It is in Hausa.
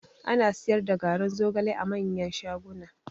Ana siyar da garin zogale a manyan shaguna